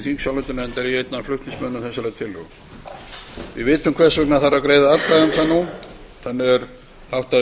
ég einn af flutningsmönnum þessarar tillögu við vitum hvers vegna þarf að greiða atkvæði um það nú þannig er háttað í